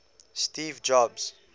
steve jobs